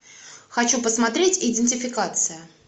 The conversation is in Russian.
хочу посмотреть идентификация